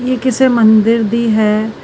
ਇਹ ਕਿਸੇ ਮੰਦਿਰ ਦੀ ਹੈ।